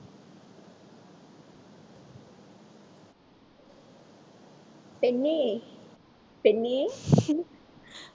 பெண்ணே பெண்ணே